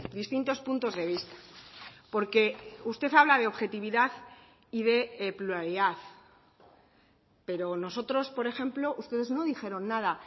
distintos puntos de vista porque usted habla de objetividad y de pluralidad pero nosotros por ejemplo ustedes no dijeron nada